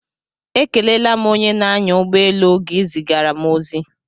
Ekelela m onye na-anya ụgbọ elu oge ị zigara m ozi